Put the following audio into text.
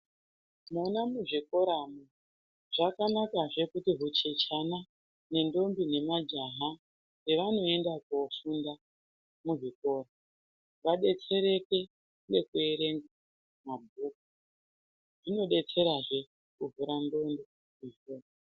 Vana muzvikoramo zvakanakazve kuti kuchechana, nendombi nemajaha nevamwe voenda kofunda muzvikora, vadetsereke ngekuerenga mabhuku, zvinodetserazve kuvhura ndxondo.